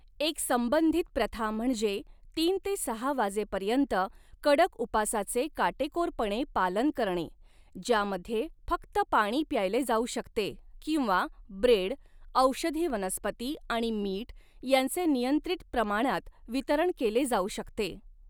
एक संबंधित प्रथा म्हणजे तीन ते सहा वाजेपर्यंत कडक उपासाचे काटेकोरपणे पालन करणे, ज्यामध्ये फक्त पाणी प्यायले जाऊ शकते किंवा ब्रेड, औषधी वनस्पती आणि मीठ यांचे नियंत्रित प्रमाणात वितरण केले जाऊ शकते.